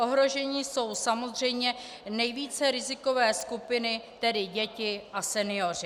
Ohroženy jsou samozřejmě nejvíce rizikové skupiny, tedy děti a senioři.